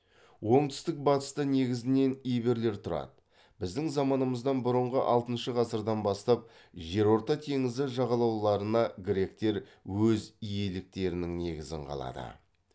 оңтүстік батыста негізінен иберлер тұрады біздің заманымыздан бұрынғы алтыншы ғасырдан бастап жерорта теңізі жағалауларына гректер өз иеліктерінің негізін қалады